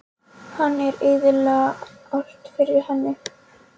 Hann er að eyðileggja allt fyrir henni.